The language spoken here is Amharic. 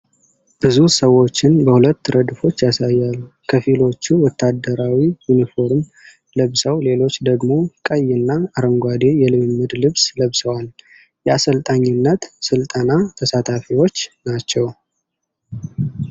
ብዙ ሰዎችን በሁለት ረድፎች ያሳያል፤ ከፊሎቹ ወታደራዊ ዩኒፎርም ለብሰው ሌሎች ደግሞ ቀይና አረንጓዴ የልምምድ ልብስ ለብሰዋል። የአሰልጣኝነት ስልጠና ተሳታፊዎች ናቸው።